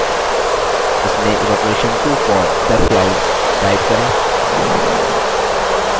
इसमें evaporation to form the clouds type करें